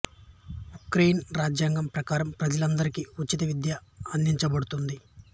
Ukrainian రాజ్యాంగం ప్రకారం ప్రజలు అందరికి ఉచిత విద్య అందించబడుతుంది